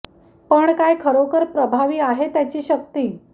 पण काय खरोखर प्रभावी आहे त्याची शक्ती आहे